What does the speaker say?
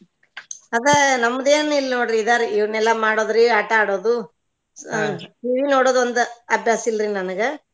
ಅದ ನಮ್ದ ಏನು ಇಲ್ಲ ನೋಡ್ರಿ ಇದಾರಿ ಇವನೆಲ್ಲಾ ಮಾಡೋದ್ರಿ ಆಟಾ ಆಡೋದು TV ನೋಡೋದ್ ಒಂದ ಅಭ್ಯಾಸ ಇಲ್ರಿ ನನ್ಗ.